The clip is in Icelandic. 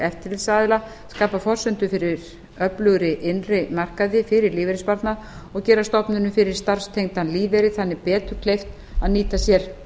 eftirlitsaðila skapa forsendur fyrir öflugri innri markaði fyrir lífeyrissparnað og gera stofnunum fyrir starfstengdan lífeyri þannig betur kleift að nýta sér